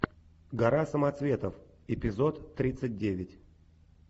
гора самоцветов эпизод тридцать девять